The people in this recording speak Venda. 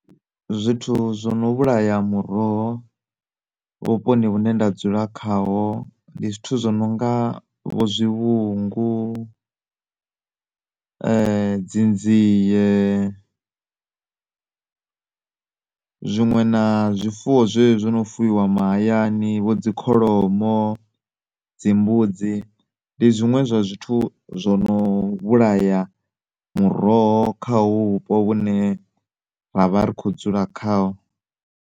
Zwithu zwono vhulaya muroho vhuponi hune nda dzula khaho ndi zwithu zwo no nga vho zwivhungu dzi nzie zwinwe na zwifuwo zwe zwi zwino fuwiwa mahayani vho dzi kholomo, dzi mbudzi. Ndi zwinwe zwa zwithu zwono vhulaya muroho kha hovhu vhupo vhune ra vha ri kho dzula khaho.